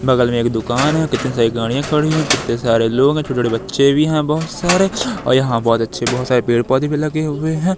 बगल में एक दुकान है कितने सारे गाड़ियां खड़ी हुई कितने सारे लोग हैं छोटे छोटे बच्चे भी हैं बहुत सारे और यहां बहुत अच्छे बहुत सारे पेड़ पौधे भी लगे हुए हैं।